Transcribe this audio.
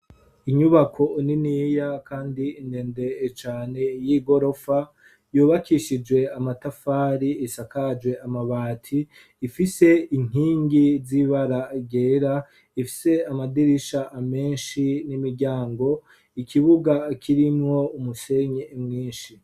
Inyubako niniya kandi ndende cane y'igorofa yubakishije amatafari isakaje amabati ifise inkingi z'ibara ryera ifise amadirisha menshi n'imiryango ikibuga kirimwo umusenyi mwinshi.